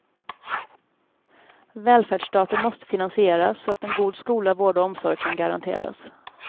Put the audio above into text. Välfärdsstaten måste finansieras så att en god skola, vård och omsorg kan garanteras.